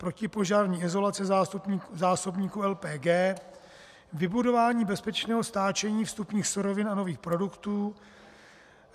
protipožární izolace zásobníků LPG; vybudování bezpečného stáčení vstupních surovin a nových produktů;